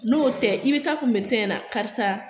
N'o tɛ i bi taaa fɔ na karisa